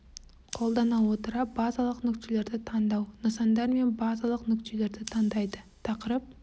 қолдана отыра базалық нүктелерді таңдау нысандар мен базалық нүктелерді таңдайды тақырып